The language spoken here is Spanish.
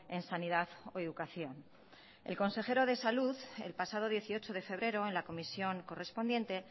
en sanidad o educación el consejero de salud el pasado dieciocho de febrero en la comisión correspondiente